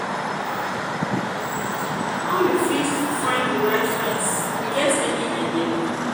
how you fit find di right friends you get any idea?